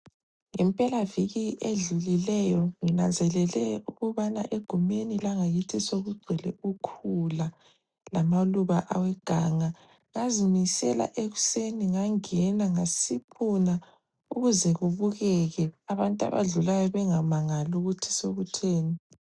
Ngempelaviki edlulileyo nginanzelele ukubana egumeni langakithi sokugcwele ukhula lamaluba aweganga. Ngazimisela ekuseni ngangena ngasiphuna ukuze kubukeke abantu abadlulayo bengamangali ukuthi sokutheni.